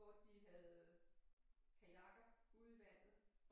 Hvor de havde kajakker ude i vandet